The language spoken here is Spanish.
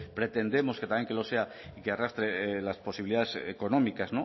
pretendemos que también que lo sea y que arrastre las posibilidades económicas